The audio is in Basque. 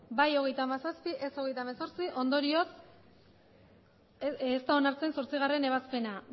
bai hogeita hamazazpi ez hogeita hemezortzi ondorioz ez da onartzen zortzigarrena ebazpena